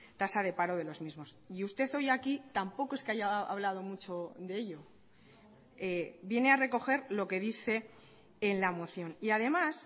tasa de paro de los mismos y usted hoy aquí tampoco es que haya hablado mucho de ello viene a recoger lo que dice en la moción y además